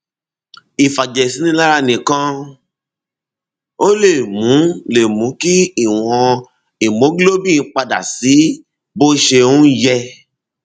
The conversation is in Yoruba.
ìfàjẹsínilára nìkan ò lè mú lè mú kí ìwọn hemoglobin padà sí bó ṣe um yẹ